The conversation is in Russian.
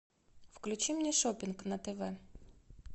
включи мне шоппинг на тв